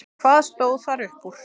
Hvað stóð þar upp úr?